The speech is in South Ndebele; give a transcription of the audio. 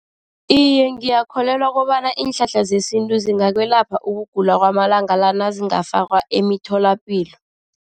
Iye, ngiyakholelwa kobana iinhlahla zesintu zingakwelapha ukugula kwamalanga la nazingafakwa emitholapilo.